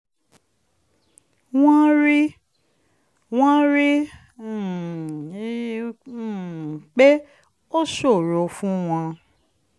wọ́n rí wọ́n rí um i um pé ó ṣòro fún wọn